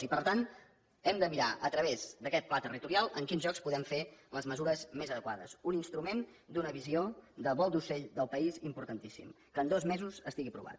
i per tant hem de mirar a través d’aquest pla territorial en quins llocs podem fer les mesures més adequades un instrument d’una visió de vol d’ocell del país importantíssim que en dos mesos estigui aprovat